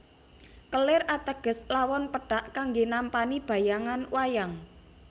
Kelir ateges lawon pethak kanggé nampani bayangan wayang